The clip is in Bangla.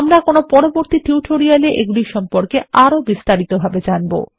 আমরা কোনো পরবর্তী টিউটোরিয়াল এ এগুলির সম্পর্কে আরো বিস্তারিত ভাবে জানবো